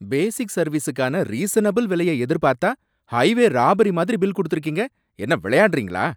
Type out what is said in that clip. பேசிக் சர்வீஸுக்கான ரீசனபில் விலையை எதிர்பார்த்தா, ஹைவே ராபரி மாதிரி பில் குடுத்துருக்கீங்க! என்ன விளையாடுறீங்களா?